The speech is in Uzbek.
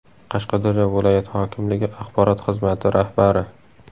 Qashqadaryo viloyat hokimligi axborot xizmati rahbari.